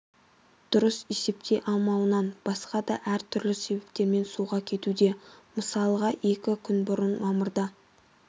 дұрыс есептей алмауынан басқа да әр түрлі себептермен суға кетуде мысалға екі күн бұрын мамырда